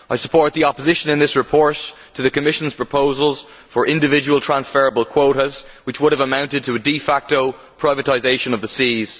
I support the opposition in this report to the Commission's proposals for individual transferable quotas, which would have amounted to a de facto privatisation of the seas.